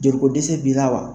Joli ko dɛsɛ b'i la wa?